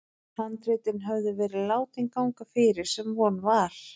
Handritin höfðu verið látin ganga fyrir, sem von var.